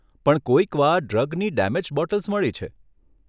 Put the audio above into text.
પણ કોઈકવાર ડ્રગની ડેમેજ્ડ બોટલ્સ મળી છે.